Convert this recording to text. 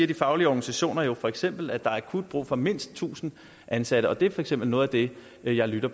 de faglige organisationer for eksempel siger at der er akut brug for mindst tusind ansatte og det er for eksempel noget af det jeg lytter